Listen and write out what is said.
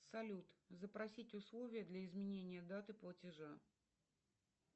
салют запросить условия для изменения даты платежа